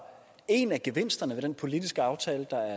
en af gevinsterne ved den politiske aftale der